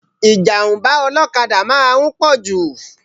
Ìjàm̀bá ọlọ́kada máa ń pọ̀jù